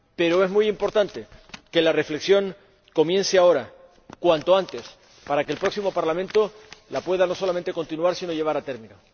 Pero es muy importante que la reflexión comience ahora, cuanto antes, para que el próximo Parlamento la pueda no solamente continuar, sino llevar a término.